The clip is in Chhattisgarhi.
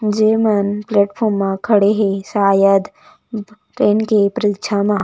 जेमन प्लेटफार्म म खड़े हे शायद ट्रैन की परीक्षा म--